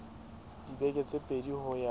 dibeke tse pedi ho ya